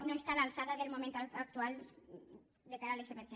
no està a l’alçada del moment actual de cara a les emergències